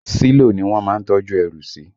Sílò ni wọ́n má ń tọ́jú ẹrù sí